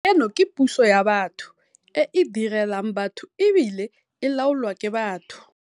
Eno ke puso ya batho, e e direlang batho e bile e laolwa ke batho.